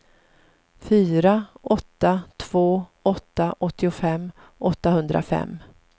fyra åtta två åtta åttiofem åttahundrafem